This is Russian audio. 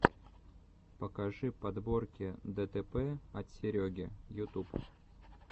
покажи подборки дэтэпэ от сереги ютуб